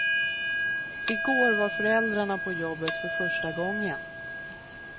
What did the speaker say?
I går var föräldrarna på jobbet för första gången.